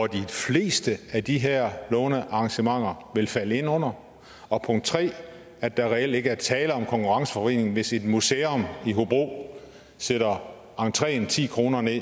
de fleste af de her lånearrangementer vil falde ind under og 3 at der reelt ikke er tale om konkurrenceforvridring hvis et museum i hobro sætter entreen ti kroner ned